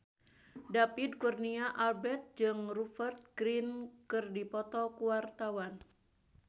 David Kurnia Albert jeung Rupert Grin keur dipoto ku wartawan